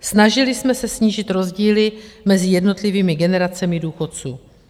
Snažili jsme se snížit rozdíly mezi jednotlivými generacemi důchodců.